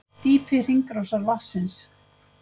Dýpi hringrásar vatnsins